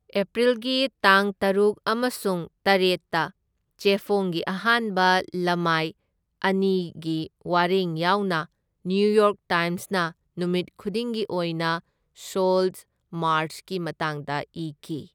ꯑꯦꯄ꯭ꯔꯤꯜꯒꯤ ꯇꯥꯡ ꯇꯔꯨꯛ ꯑꯃꯁꯨꯡ ꯇꯔꯦꯠꯇ ꯆꯦꯐꯣꯡꯒꯤ ꯑꯍꯥꯟꯕ ꯂꯩꯃꯥꯏ ꯑꯅꯤꯒꯤ ꯋꯥꯔꯦꯡ ꯌꯥꯎꯅ ꯅ꯭ꯌꯨꯌꯣꯔꯛ ꯇꯥꯏꯝꯁꯅ ꯅꯨꯃꯤꯠ ꯈꯨꯗꯤꯡꯒꯤ ꯑꯣꯏꯅ ꯁꯣꯜꯠ ꯃꯥꯔꯆꯀꯤ ꯃꯇꯥꯡꯗ ꯏꯈꯤ꯫